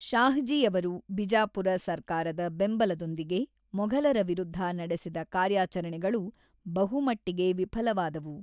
ಶಾಹಜಿಯವರು ಬಿಜಾಪುರ ಸರ್ಕಾರದ ಬೆಂಬಲದೊಂದಿಗೆ ಮೊಘಲರ ವಿರುದ್ಧ ನಡೆಸಿದ ಕಾರ್ಯಾಚರಣೆಗಳು ಬಹುಮಟ್ಟಿಗೆ ವಿಫಲವಾದವು.